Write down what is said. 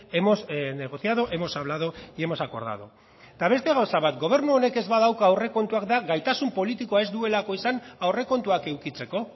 hemos negociado hemos hablado y hemos acordado eta beste gauza bat gobernu honek ez badauka aurrekontuak da gaitasun politikoa ez duelako izan aurrekontuak edukitzeko